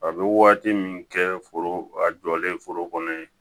A bɛ waati min kɛ foro a jɔlen foro kɔnɔ yen